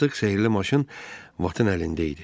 Artıq sehrli maşın Batın əlində idi.